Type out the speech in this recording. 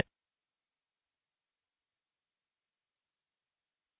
बायीं तरफ document option चुनें